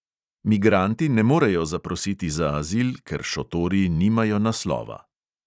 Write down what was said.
Migranti ne morejo zaprositi za azil, ker šotori nimajo naslova.